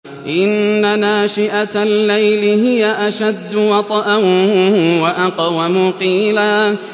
إِنَّ نَاشِئَةَ اللَّيْلِ هِيَ أَشَدُّ وَطْئًا وَأَقْوَمُ قِيلًا